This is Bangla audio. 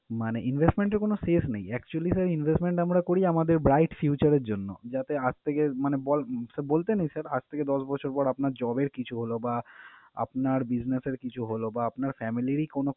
মানে investment এর কোন শেষ নেই। Actually sir investment আমরা করি আমাদের bright future এর জন্য। যাতে আজ থেকে মানে বল~ sir বলতে নেই sir আজ থেকে দশ বছর পর আপনার job এর কিছু হলো বা আপনার business এর কিছু হলো বা আপনার family রই কোন